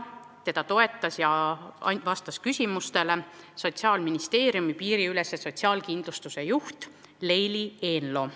Teda toetas ja vastas küsimustele Sotsiaalministeeriumi piiriülese sotsiaalkindlustuse juht Leili Eenlo.